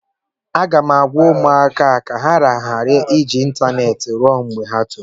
M ga-agwa ụmụaka ka ha ghara iji ịntaneetị ruo mgbe ha tolitere